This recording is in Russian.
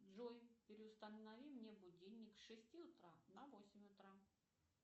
джой переустанови мне будильник с шести утра на восемь утра